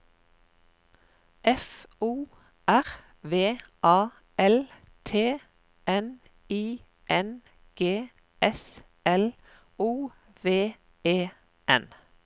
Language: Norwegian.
F O R V A L T N I N G S L O V E N